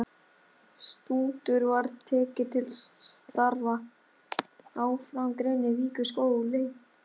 Stútur var tekið til starfa!